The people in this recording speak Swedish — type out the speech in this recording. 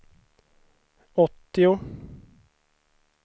åttio